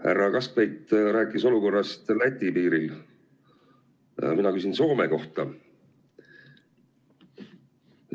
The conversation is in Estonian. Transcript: Härra Kaskpeit rääkis olukorrast Läti piiril, mina küsin Soome kohta.